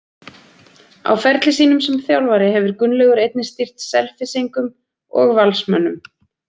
Á ferli sínum sem þjálfari hefur Gunnlaugur einnig stýrt Selfyssingum og Valsmönnum.